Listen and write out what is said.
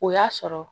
O y'a sɔrɔ